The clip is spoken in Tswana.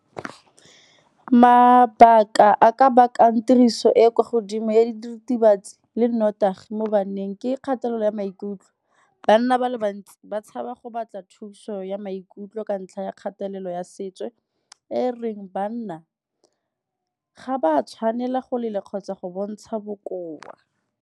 Mabaka a ka bakang tiriso e e kwa godimo ya diritibatsi le nnotagi mo baneng ke kgatelelo ya maikutlo. Banna ba le bantsi ba ba go batla thuso ya maikutlo ka ntlha ya kgatelelo ya setso, e e reng banna ga ba tshwanela go lela kgotsa go bontsha bokoa.